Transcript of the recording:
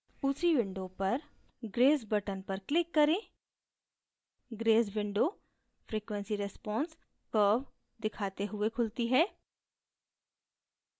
उसी window पर grace button पर click करें grace window frequency response curve दिखाते हुए खुलती है